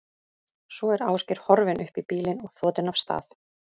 Svo er Ásgeir horfinn upp í bílinn og þotinn af stað.